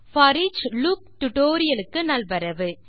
foreach loop tutorial க்கு நல்வரவு